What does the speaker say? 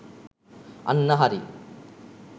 අන්න හරි.